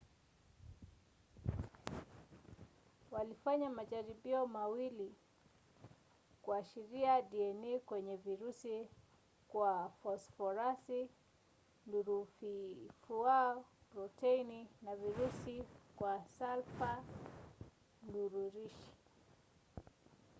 walifanya majaribio mawili kuashiria dna kwenye virusi kwa fosforasi nururifuau protini ya virusi kwa salfa nururishi